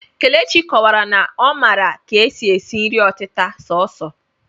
Kelechi kọwara na ọ maara ka e si si nri ọtịta sọọsọ